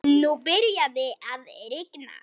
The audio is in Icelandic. Nú byrjaði að rigna.